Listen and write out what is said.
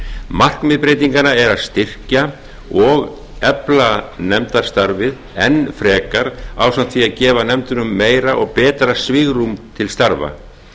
markmið breytinganna er að styrkja og efla nefndastarfið enn frekar ásamt því að gefa nefndunum meira og betra svigrúm til starfa